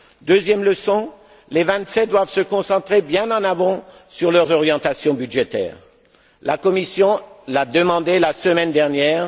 Deuxième leçon les Vingt sept doivent se concentrer bien en amont sur leurs orientations budgétaires. La Commission l'a demandé la semaine dernière.